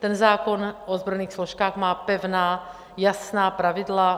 Ten zákon o ozbrojených složkách má pevná, jasná pravidla.